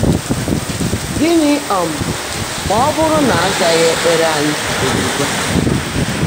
Gị́ní um má ọ́ bụ́rụ́ ná á zághị́ ékpèré ányị́ ózígwá?